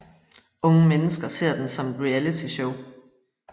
Unge mennesker ser den som et realityshow